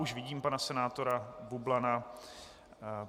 Už vidím pana senátora Bublana.